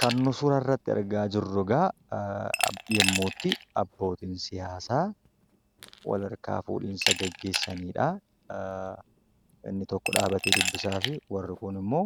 Kan nu suura irratti argaa jirru egaa yemmuutti abbootiin siyaasaa wal harkaa fuudhinsa geggeessanidha. Inni tokko dhaabatee dubbisaafi warri kun immoo